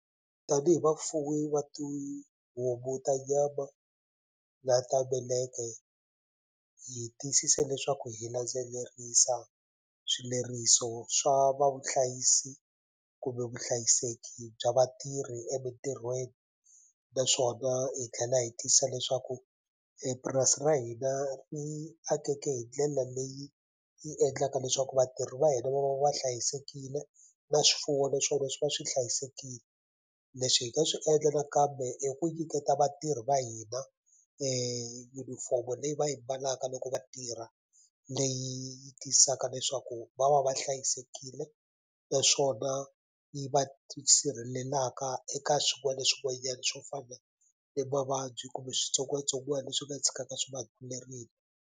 Tanihi vafuwi va tihomu ta nyama na ta meleke hi tiyisise leswaku hi landzelerisa swileriso swa va vuhlayisi kumbe vuhlayiseki bya vatirhi emintirhweni naswona hi tlhela hi tiyisisa leswaku purasi ra hina ri akeke hi ndlela leyi yi endlaka leswaku vatirhi va hina va va va hlayisekile na swifuwo naswona swi va swi hlayisekile leswi hi nga swi endla nakambe i ku nyiketa vatirhi va hina yunifomo leyi va yi mbalaka loko vatirha leyi tiyisisaka leswaku va va va hlayisekile naswona yi va yi sirhelelaka eka swin'wana na swin'wanyana swo fana ni mavabyi kumbe switsongwatsongwana leswi nga tshikaka swi va .